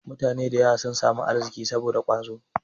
Mutane da yawa sun samu arziki saboda ƙwazo.